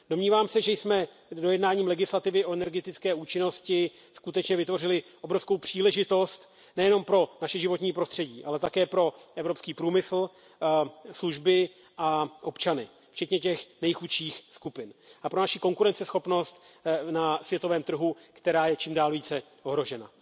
Domnívám se, že jsme dojednáním legislativy o energetické účinnosti skutečně vytvořili obrovskou příležitost nejenom pro naše životní prostředí, ale také pro evropský průmysl, služby a občany, včetně těch nejchudších skupin, a pro naši konkurenceschopnost na světovém trhu, která je čím dál více ohrožena.